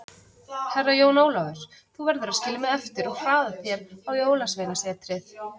Herra Jón Ólafur, þú verður að skilja mig eftir og hraða þér á Jólasveinasetrið.